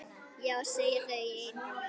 Já segja þau einum rómi.